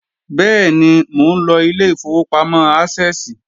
Bẹ́ẹ̀ni, mò ńlọ ilé ìfowópamọ́ Ásẹ́ẹ̀sì